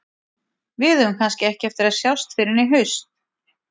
Við eigum kannski ekki eftir að sjást fyrr en í haust.